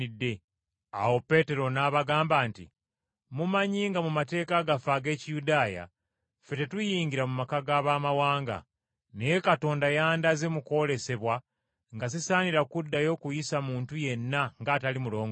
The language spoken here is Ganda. Awo Peetero n’abagamba nti, “Mumanyi nga mu mateeka gaffe ag’Ekiyudaaya, ffe tetuyingira mu maka g’Abamawanga. Naye Katonda yandaze mu kwolesebwa nga sisaanira kuddayo kuyisa muntu yenna ng’atali mulongoofu.